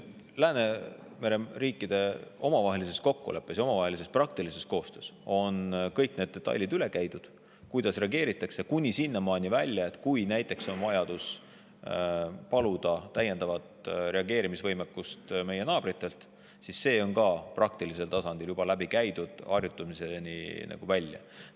Läänemere riikide omavahelises kokkuleppes ja praktilises koostöös on kõik need detailid, kuidas reageeritakse, üle käidud, kuni sinnamaani välja, et kui on näiteks vajadus paluda täiendavat reageerimisvõimekust meie naabritelt, siis ka see on praktilisel tasandil juba läbi käidud, harjutamiseni välja.